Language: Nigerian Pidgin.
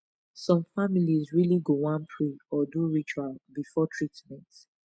some families really go wan pray or do ritual before treatment